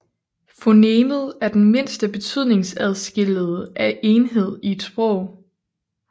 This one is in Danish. Fonemet er den mindste betydningsadskillende enhed i et sprog